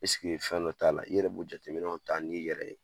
fɛn dɔ t'a la .I yɛrɛ b'o jateminɛ ta n'i yɛrɛ ye.